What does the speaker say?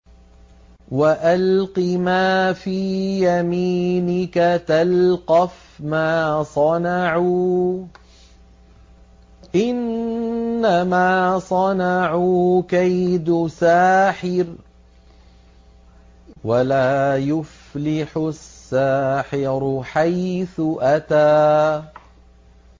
وَأَلْقِ مَا فِي يَمِينِكَ تَلْقَفْ مَا صَنَعُوا ۖ إِنَّمَا صَنَعُوا كَيْدُ سَاحِرٍ ۖ وَلَا يُفْلِحُ السَّاحِرُ حَيْثُ أَتَىٰ